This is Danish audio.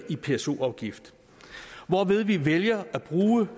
i pso afgift hvorved vi vælger at bruge